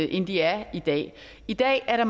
end de er i dag i dag er